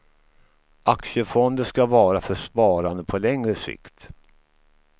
Aktiefonder ska vara för sparande på längre sikt.